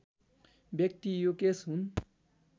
व्यक्ति युकेश हुन्